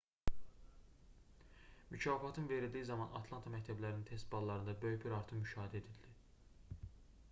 mükafatın verildiyi zaman atlanta məktəblərinin test ballarında böyük bir artım müşahidə edildi